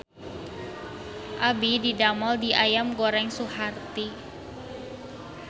Abdi didamel di Ayam Goreng Suharti